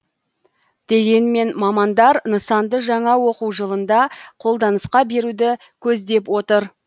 дегенмен мамандар нысанды жаңа оқу жылында қолданысқа беруді көздеп отыр